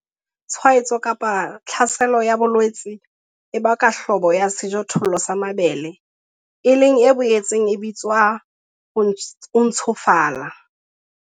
Tshwaetso kapa tlhaselo ya bolwetse e baka Hlobo ya sejothollo sa mabele, e leng e boetseng e bitswa 'ho ntshofala'.